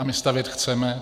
A my stavět chceme.